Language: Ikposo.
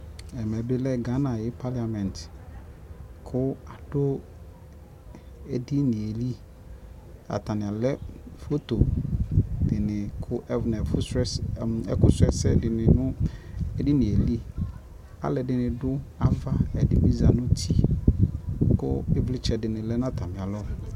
Ɛmɛ bi lɛ Gana ayʋ paliamɛti kʋ adʋ edinie li Atani alɛ foto di ni nʋ ɛkʋ sulɔ ɛsɛ di ni nʋ edini li Alʋɛdini dʋ ava, ɛdini bi za nʋ uti kʋ ivlitsɛ di ni lɛ nʋ atami alɔ